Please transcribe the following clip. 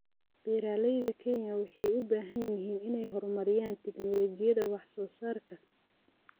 Beeralayda Kenya waxay u baahan yihiin inay horumariyaan tignoolajiyada wax soo saarka.